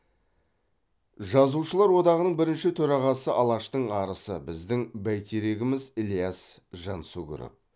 жазушылар одағының бірінші төрағасы алаштың арысы біздің бәйтерегіміз ілияс жансүгіров